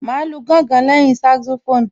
Màá lu gángan lẹ́yìn Saxophone